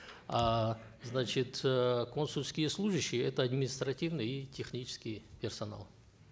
а значит э консульские служащие это административный и технический персонал